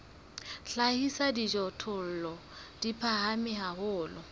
hlahisa dijothollo di phahame haholo